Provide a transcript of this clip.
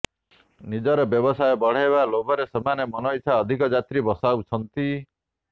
ନିଜର ବ୍ୟବସାୟ ବଢ଼ାଇବା ଲୋଭରେ ସେମାନେ ମନଇଚ୍ଛା ଅଧିକ ଯାତ୍ରୀ ବସାଉଛନ୍ତି